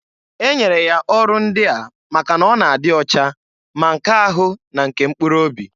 E nyere ya ọrụ ndịa maka n'ọ na-adị ocha, ma nke ahu na nke mkpuru obi.